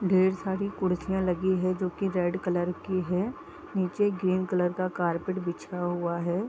ढेर सारी कुर्सियाँ लगी हैं जो की रेड कलर की हैं नीचे ग्रीन कलर का कारपेट बिछा हुआ है ।